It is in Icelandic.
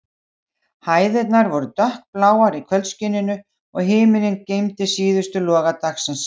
Hæðirnar voru dökkbláar í kvöldskininu, og himinninn geymdi síðustu loga dagsins.